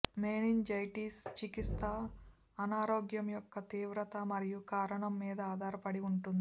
meningitis చికిత్స అనారోగ్యం యొక్క తీవ్రత మరియు కారణం మీద ఆధారపడి ఉంటుంది